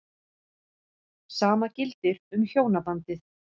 Sama gildir um hjónabandið.